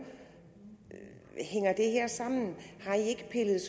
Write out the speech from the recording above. hænger det her sammen